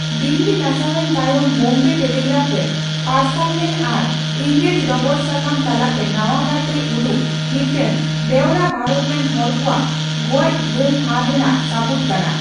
ᱫᱤᱞᱞᱤ ᱱᱟᱥᱟᱣ ᱮᱱ ᱛᱟᱭᱚᱢ ᱵᱚᱢᱵᱮ ᱴᱮᱞᱤᱜᱨᱟᱯᱷ ᱨᱮ ᱯᱟᱨᱥᱟᱞᱞᱮᱱ ᱟᱨ ᱤᱝᱨᱮᱡ ᱰᱚᱜᱚᱨ ᱥᱟᱠᱟᱢ ᱛᱟᱞᱟᱛᱮ ᱱᱟᱣᱟ ᱠᱟᱨᱛᱮ ᱩᱫᱩᱜ ᱢᱤᱫᱴᱟᱝ ᱵᱮᱣᱨᱟ ᱵᱷᱟᱨᱚᱛ ᱨᱮᱱ ᱦᱚᱲ ᱠᱚᱣᱟᱜ ᱜᱚᱡᱜᱷᱟᱹᱞ ᱦᱟᱨ ᱨᱮᱱᱟᱜ ᱥᱟᱵᱩᱫ ᱠᱟᱱᱟ ᱾